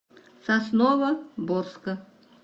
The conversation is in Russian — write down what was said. сосновоборска